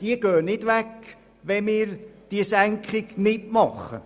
Diese gehen nicht weg, wenn wir die Senkung nicht vornehmen.